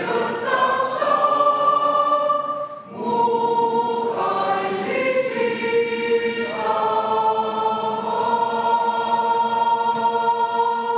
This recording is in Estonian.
Lauldakse Eesti Vabariigi hümni.